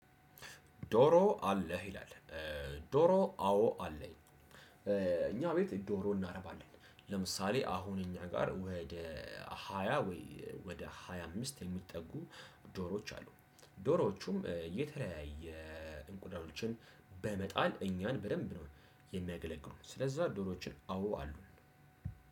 ዶሮ አለህ? ይላል። ዶሮ አዎ አለኝ። እኛ ቤት ዶሮ እናረባለን። ለምሳሌ አሁን እኛ ጋር ወደ ሃያ ወይ ወደ ሃያ አምስት የሚጠጉ ዶሮዎች አሉ። ዶሮዎቹም የተለያየ እንቁላሎችን በመጣል እኛን በደንብ ነው የሚያገለግሉን። ስለዛ ዶሮዎችን አዎ አሉን።